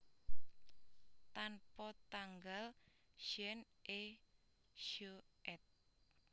Tanpa tanggal Jean et Jo éd